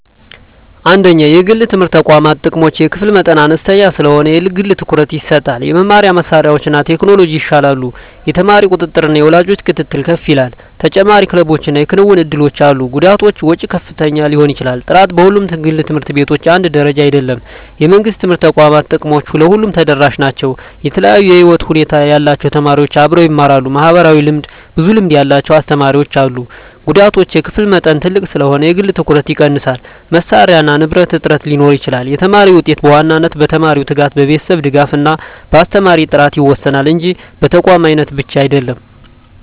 1) የግል የትምህርት ተቋማት ጥቅሞች የክፍል መጠን አነስተኛ ስለሆነ የግል ትኩረት ይሰጣል የመማሪያ መሳሪያዎችና ቴክኖሎጂ ይሻላሉ የተማሪ ቁጥጥርና የወላጅ ክትትል ከፍ ይላል ተጨማሪ ክለቦችና የክንውን እድሎች አሉ ጉዳቶች ወጪ ከፍተኛ ሊሆን ይችላል ጥራት በሁሉም ግል ት/ቤቶች አንድ ደረጃ አይደለም የመንግሥት የትምህርት ተቋማት ጥቅሞች ለሁሉም ተደራሽ ናቸው የተለያዩ የህይወት ሁኔታ ያላቸው ተማሪዎች አብረው ይማራሉ (ማህበራዊ ልምድ) ብዙ ልምድ ያላቸው አስተማሪዎች አሉ ጉዳቶች የክፍል መጠን ትልቅ ስለሆነ የግል ትኩረት ይቀንሳል መሳሪያና ንብረት እጥረት ሊኖር ይችላል የተማሪ ውጤት በዋናነት በተማሪው ትጋት፣ በቤተሰብ ድጋፍ እና በአስተማሪ ጥራት ይወሰናል እንጂ በተቋም አይነት ብቻ አይደለም።